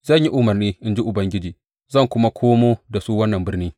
Zan yi umarni, in ji Ubangiji, zan kuma komo da su wannan birni.